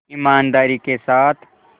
ईमानदारी के साथ